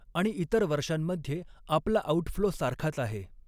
आणि इतर वर्षांमध्ये आपला आऊटफ्लो सारखाच आहे.